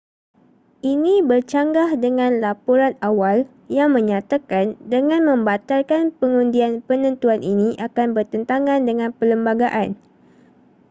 ini bercanggah dengan laporan awal yang menyatakan dengan membatalkan pengundian penentuan ini akan bertentangan dengan perlembagaan